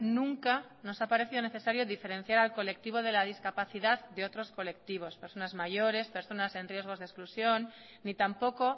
nunca nos ha parecido necesario diferenciar al colectivo de la discapacidad de otros colectivos personas mayores personas en riesgos de exclusión ni tampoco